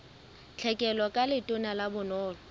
tlhekelo ka letona la bonono